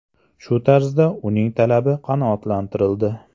Shu tarzda uning talabi qanoatlantirildi.